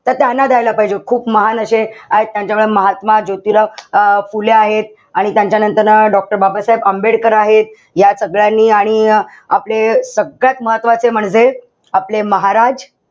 त त्यांना द्यायला पाहिजे. खूप महान अशे आहेत त्यांच्याकडे महात्मा ज्योतिबा अं फुले आहेत. आणि त्यांच्यानंतर doctor बाबासाहेब आंबेडकर आहेत. या सगळ्यांनी आणि आपले सगळ्यात महत्वाचे म्हणजे आपले महाराज,